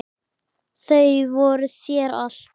Þau voru þér allt.